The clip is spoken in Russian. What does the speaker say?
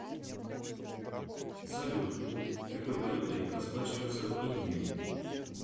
салют какой валютой расплачиваются в индии